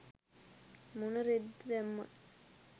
මොන රෙද්ද දැම්මත්